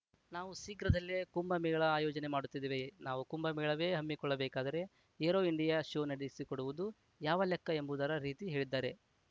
ನಾವು ಶೀಘ್ರದಲ್ಲೇ ಕುಂಭ ಮೇಳ ಆಯೋಜನೆ ಮಾಡುತ್ತಿದ್ದೇವೆ ನಾವು ಕುಂಭಮೇಳವೇ ಹಮ್ಮಿಕೊಳ್ಳಬೇಕಾದರೆ ಏರೋ ಇಂಡಿಯಾ ಶೋ ನಡೆಸಿಕೊಡುವುದು ಯಾವ ಲೆಕ್ಕ ಎಂಬುದರ ರೀತಿ ಹೇಳಿದ್ದಾರೆ